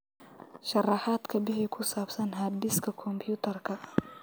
sharaxaad ka bixi ku saabsan hard diskka kombiyuutarka